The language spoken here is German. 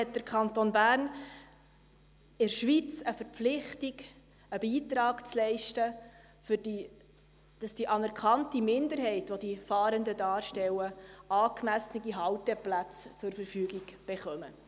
Hat der Kanton Bern in der Schweiz eine Verpflichtung, einen Beitrag zu leisten, dass die anerkannte Minderheit, welche die Fahrenden darstellen, angemessene Halteplätze zur Verfügung gestellt erhalten?